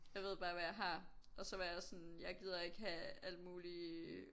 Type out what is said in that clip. Jeg ved bare hvad jeg har og så var jeg sådan jeg gider ikke have alt muligt